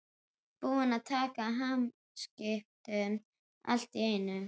Búinn að taka hamskiptum allt í einu.